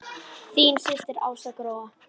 Þín systir Ása Gróa.